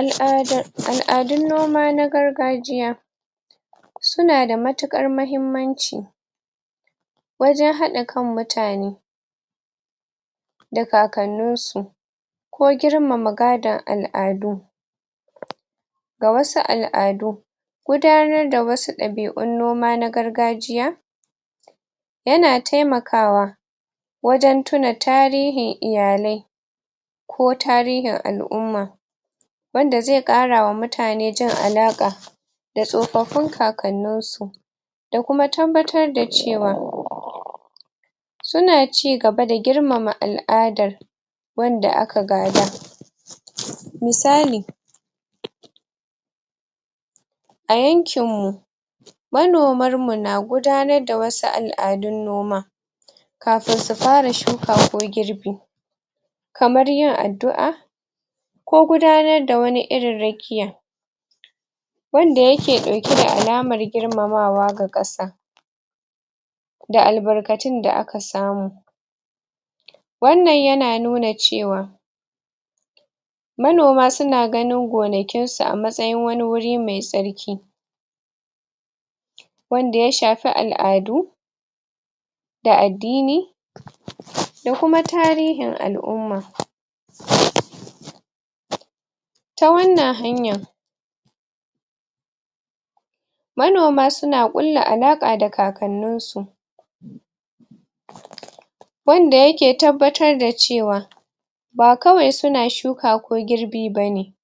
Al'ada al'adun noma na gargajiya sunada matuƙar mahimmanci wajan haɗa kan mutane da kakannunsu ko girmama gadan al'adu ga wasu al'adu gudanar da wasu ɗabi'un noma na gargajiya yana taimakawa wajen tuna tarihin iyalai ko tarihin al'umma wanda zai ƙarawa mutane jin alaƙa da tsofaffin kakannin su da kuma tabbatar da cewa suna ci gaba da girmama al'adar wanda aka gada misali a yankin mu manomar mu na gudanar da wasu al'adun noma kafin su fara shuka ko girbi kamar yin addu'a ko gudanar da wani irin rakiya wanda yake ɗauke da alamar gimamawa ga ƙasa da albarkacin da aka samu wannan yana nuna cewa manoma suna ganin gonakinsu a matsayin wani wuri mai tsarki wanda ya shafi al'adu da addini da kuma tarihin al'umma ta wannan hanya manoma suna kulla alaƙa da kakannunsu wanda yake tabbatar da cewa ba kawai suna shuka ko girbi bane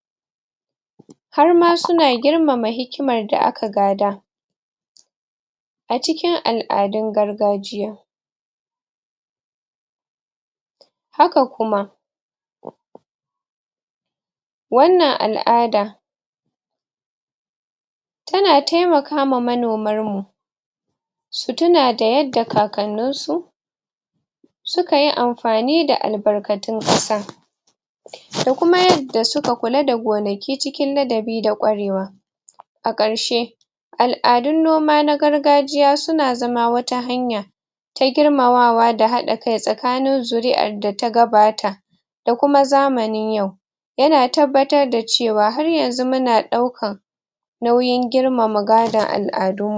harma suna girmama hikimar da aka gada a cikin al'adun gargajiya haka kuma wannan al'ada tana taimaka ma manomarmu su tuna da yadda kakannin su sukayi amfani da albarkatun ƙasa da kuma yadda suka kula da gonaki cikin ladabi da ƙwarewa a ƙarshe al'adun noma na gargajiya suna zama wata hanya ta girmamawa da haɗa kai tsakanin zuri'ar data gabata da kuma zamanin yau yana tabbatar da cewa har yanzu muna daukan nauyin girmama gadon al'adun mu